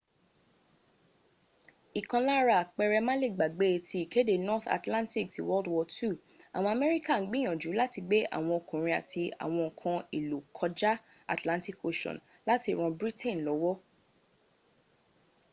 ìkan lára àpẹrẹ́ má le gbàgbé ti ìkéde north atlantic ti wwii. àwọn amẹ́ríkà ń gbìyànjú láti gbé àwọn ọkùnrin àti àwọn ǹkan èlò kọjá atlantic ocean láti ran britain lọ́wọ́